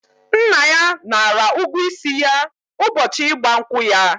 Nna ya nara ụgwọ isi ya ụbọchị ịgba nkwụ ya.